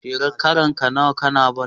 Shekarar ka nawa kana ball?